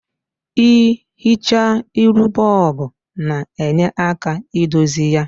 I hichaa iru bob na-nye aka idozi ya.